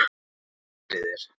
Hvað gerið þér?